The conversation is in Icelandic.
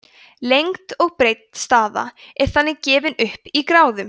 lengd og breidd staða er þannig gefin upp í gráðum